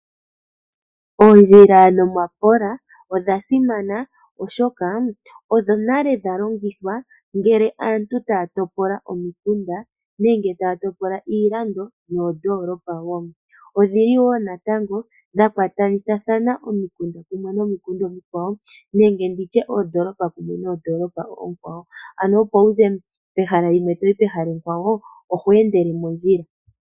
Oondjila nomapola odha simana oshoka odho nale dha longithwa ngele aantu taya topola omikunda nenge taya topola iilando noondoolopa woo. Odhili woo natango dha kwatakanitha omikunda kumwe nomikunda omikwawo nenge nditye oondoolopa kumwe noondoolopa oonkwawo ano opo wu ze pehala limwe toyi pehala ekwawo oho endele mondjila.